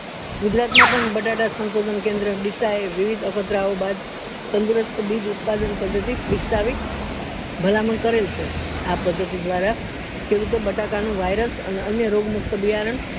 ગુજરાત માં પણ બતાતા સંશોધન કેન્દ્ર ડીસા એ વિવિધ અભદ્ર બાદ તંદુરસ્ત બી ઉત્પાદન પદ્ધતિ વિકસાવી ભલામણ કરેલ છે અ પદ્ધતિ દ્વારા ખેડૂતો બટાકા નું virus અને અન્ય રોગ મુક્ત બિયારણ